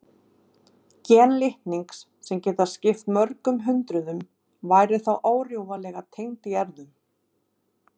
Gen litningsins, sem geta skipt mörgum hundruðum, væru þá órjúfanlega tengd í erfðum.